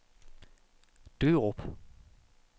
Dørup